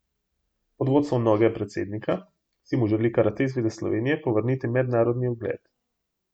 Pod vodstvom novega predsednika si mu želi Karate zveza Slovenije povrniti mednarodni ugled.